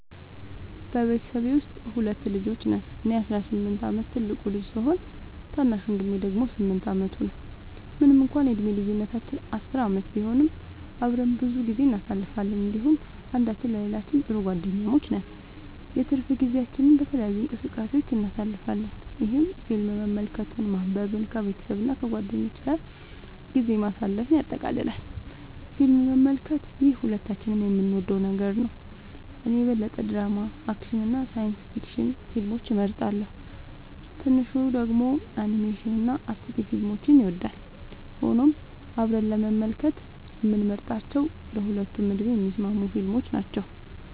በቤተሰቤ ውስጥ ሁለት ልጆች ነን - እኔ የ18 ዓመት ትልቁ ልጅ ሲሆን፣ ታናሽ ወንድሜ ደግሞ 8 ዓመቱ ነው። ምንም እንኳን የዕድሜ ልዩነታችን 10 ዓመት ቢሆንም፣ አብረን ብዙ ጊዜ እናሳልፋለን እንዲሁም አንዳችን ለሌላችን ጥሩ ጓደኛሞች ነን። የትርፍ ጊዜያችንን በተለያዩ እንቅስቃሴዎች እናሳልፋለን፣ ይህም ፊልም መመልከትን፣ ማንበብን፣ ከቤተሰብ እና ከጓደኞች ጋር ጊዜ ማሳለፍን ያጠቃልላል። ፊልም መመልከት - ይህ ሁለታችንም የምንወደው ነገር ነው። እኔ የበለጠ ድራማ፣ አክሽን እና ሳይንስ ፊክሽን ፊልሞችን እመርጣለሁ፣ ታናሹ ደግሞ አኒሜሽን እና አስቂኝ ፊልሞችን ይወዳል። ሆኖም አብረን ለመመልከት የምንመርጣቸው ለሁለቱም ዕድሜ የሚስማሙ ፊልሞች ናቸው።